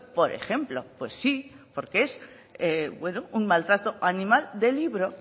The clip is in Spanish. por ejemplo pues sí porque es un maltrato animal de libro